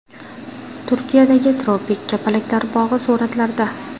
Turkiyadagi tropik kapalaklar bog‘i suratlarda.